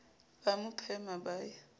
ba a phema ba ye